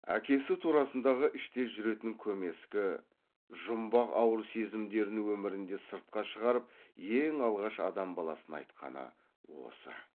әкесі турасындағы іште жүретін көмескі жұмбақ ауыр сезімдерін өмірінде сыртқа шығарып ең алғаш адам баласына айтқаны осы